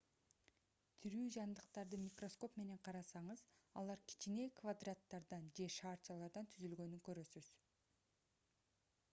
тирүү жандыктарды микроскоп менен карасаңыз алар кичине квадраттардан же шарчалардан түзүлгөнүн көрөсүз